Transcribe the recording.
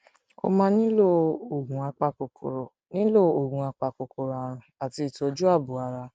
ó máa nílò oògùn apakòkòrò nílò oògùn apakòkòrò àrùn àti ìtọjú ààbò ara